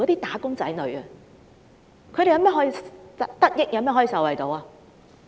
他們如何能夠得益和受惠呢？